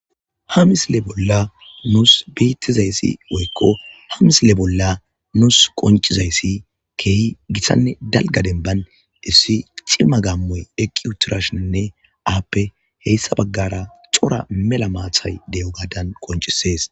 hamisle bolla nuus bettizayssi woykko hamisle bolla nuus qoncizayssi keehi gitthanne dalga denban issi cimma gammoy eqqiutirashinne aappe heyssa baggara xora mela maathay de7o gaadan qoncisees